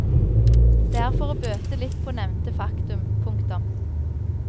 Det er for å bøte litt på nevnte faktum. punktum